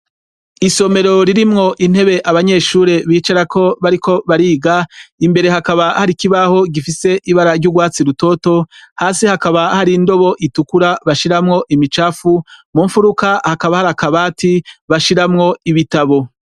Isomero ririmwo intebe abanyeshure bicara ko bariko bariga imbere hakaba hari kibaho gifise ibara ry'urwatsi rutoto hasi hakaba hari indobo itukura bashiramwo imicafu mu mfuruka hakaba hari akabati bashiramwo ibitabo.